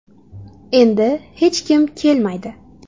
Endi hech kim kelmaydi.